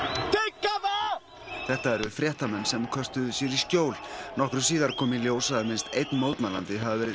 þetta eru fréttamenn sem köstuðu sér í skjól nokkru síðar kom í ljós að minnst einn mótmælandi hafði verið skotinn til bana